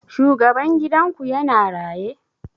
Shugaban gidan ku ya na raye?